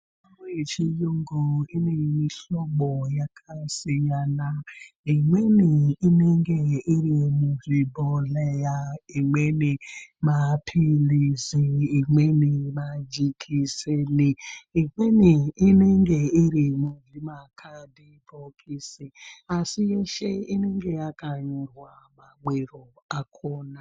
Mitombo yechiyungu ine mihlobo yakasiyana. Imweni inenge iri muzvibhodhleya, imweni maphilizi, imweni majekiseni, imweni inenge iri muzvimakhadhibhokisi asi yeshe inenge yakanyorwa mamwiro akhona.